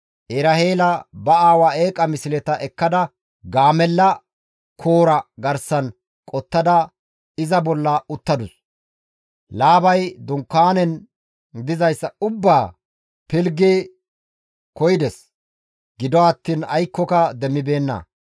Eraheela ba aawa eeqa misleta ekkada gaamella koora garsan qottada, iza bolla uttadus. Laabay dunkaanan dizayssa ubbaa pilggidi koyides; gido attiin aykkoka demmibeenna.